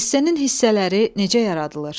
Esse-nin hissələri necə yaradılır?